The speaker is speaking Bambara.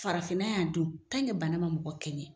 Farafinna y'a dun bana ma mɔgɔ kɛɲɛn.